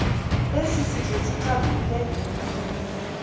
esi sizwe sicaphule